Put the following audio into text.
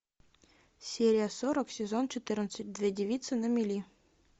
серия сорок сезон четырнадцать две девицы на мели